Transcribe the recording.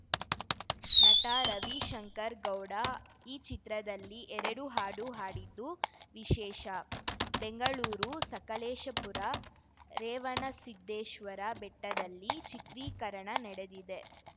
ನಟ ರವಿಶಂಕರ್‌ ಗೌಡ ಈ ಚಿತ್ರದಲ್ಲಿ ಎರಡು ಹಾಡು ಹಾಡಿದ್ದು ವಿಶೇಷ ಬೆಂಗಳೂರು ಸಕಲೇಶಪುರ ರೇವಣ್ಣಸಿದ್ದೇಶ್ವರ ಬೆಟ್ಟದಲ್ಲಿ ಚಿತ್ರೀಕರಣ ನಡೆದಿದೆ